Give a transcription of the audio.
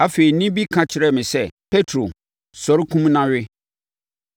Afei, nne bi ka kyerɛɛ me sɛ, ‘Petro! Sɔre! Kum na we!’